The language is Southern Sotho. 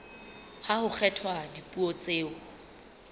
ha ho kgethwa dipuo tseo